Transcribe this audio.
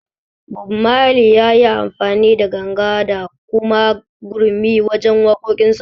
Bob Mali yayi amfani da ganga da kuma gurmi wajen waƙoƙin sa